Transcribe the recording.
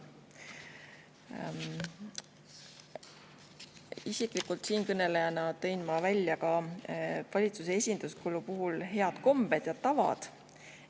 Isiklikult tõin ma valitsuse esinduskulu puhul välja head kombed ja tavad.